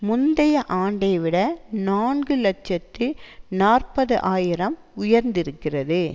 முந்தைய ஆண்டை விட நான்கு இலட்சத்தி நாற்பது ஆயிரம் உயர்ந்திருக்கிறது